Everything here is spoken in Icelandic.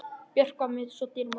Björk var mér svo dýrmæt.